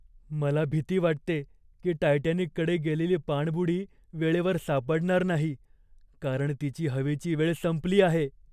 मला भीती वाटते की टायटॅनिकडे गेलेली पाणबुडी वेळेवर सापडणार नाही, कारण तिची हवेची वेळ संपली आहे.